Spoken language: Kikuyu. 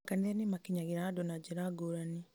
makanitha nĩmakinyagĩra andũ na njĩra ngũrani